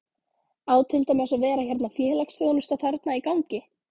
Á til dæmis að vera hérna félagsþjónusta þarna í gangi?